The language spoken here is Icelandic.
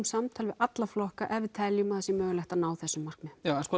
samtal við alla flokka ef við teljum að það sé mögulegt að ná þessum markmiðum já